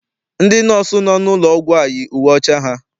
Ndị nọọsụ nọ n'ụlọ ọgwụ a yi uwe ọcha ha.